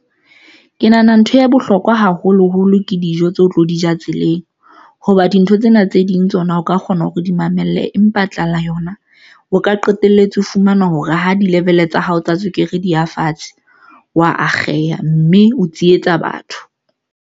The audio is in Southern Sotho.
Ke nahana ntho ya bohlokwa haholoholo ke dijo tseo tlo di ja tseleng. Hoba dintho tsena tse ding tsona, o ka kgona hore di mamelle, empa tlala yona o ka qetelletse o fumana hore ha di-level tsa hao, tsa tswekere, di ya fatshe, wa akgeha mme o tsietsa batho.